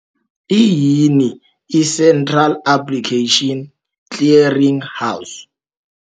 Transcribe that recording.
Iyini i-Central Application Clearing House?